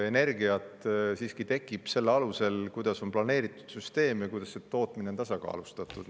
Energia siiski tekib, kuidas on planeeritud süsteem ja kuidas tootmine on tasakaalustatud.